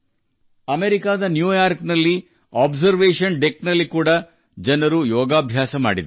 ಅಮೆರಿಕದ ನ್ಯೂಯಾರ್ಕ್ನಲ್ಲಿರುವ ಅಬ್ಸರ್ವೇಶನ್ ಡೆಕ್ನಲ್ಲಿಯೂ ಜನರು ಯೋಗ ಮಾಡಿದರು